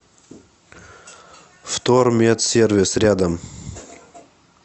вторметсервис рядом